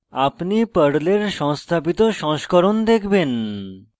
আপনি পর্লের সংস্থাপিত সংস্করণ দেখবেন